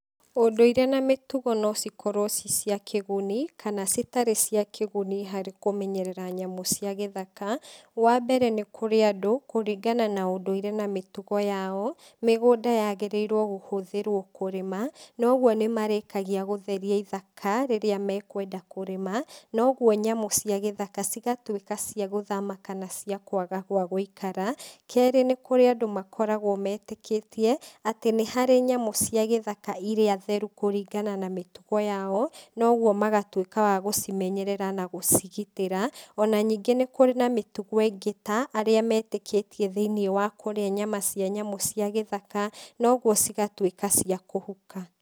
Ũndũire na mĩtugo no cikorwo ciĩ cia kĩgunĩ, kana citarĩ cia kĩguni harĩ kũmenyerera nyamũ cia gĩthaka, wambere nĩkũrĩ andũ kũringana na ũndũire na mĩtugo yao, mĩgũnda yagĩrĩirwo kũhũthĩrwo kũrĩma, noguo nĩmarĩkagia gũtheria ithaka, rĩrĩa mekwenda kũrĩma, noguo nyamũ cia gĩthaka cigatuĩka ciagũthama kana ciakwaga gwa gũikara, kerĩ nĩkũrĩ andũ makoragwo metĩkĩtie, atĩ nĩharĩ nyamũ cia gĩthaka iria therũ kũringana na mĩtugo yao, noguo magatuĩka wa gũcimenyerera na gũcigitĩra, ona ningĩ nĩkũrĩ na mĩtugo ĩngĩ ta arĩa metĩkĩtie thĩinĩ wa kũrĩa nyamũ cia gĩthaka, na ũguo cigatuĩka cia kũhuka.